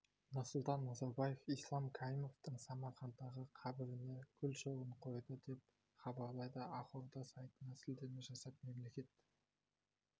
нұрсұлтан назарбаев ислам каримовтың самаркандтағы қабіріне гүл шоғын қойды деп хабарлайды ақорда сайтына сілтеме жасап мемлекет